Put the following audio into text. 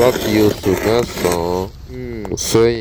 láti oṣù mẹ́sàn-án um sẹ́yìn